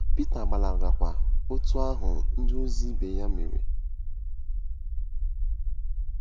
Pita gbalagakwa otú ahụ ndịozi ibe ya mere.